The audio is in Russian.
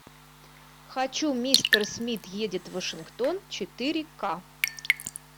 хочу мистер смит едет в вашингтон четыре ка